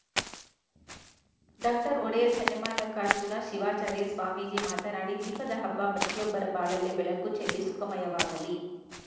doctor Odeyar Channamallikarjuna Shivacharya Swamiji ಮಾತನಾಡಿ ದೀಪದ ಹಬ್ಬ ಪ್ರತಿಯೊಬ್ಬರ ಬಾಳಲ್ಲಿ ಬೆಳುಕು ಚೆಲ್ಲಿ ಸುಖಮಯವಾಗಲಿ